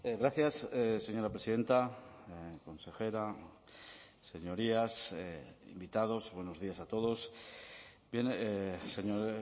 gracias señora presidenta consejera señorías invitados buenos días a todos bien señor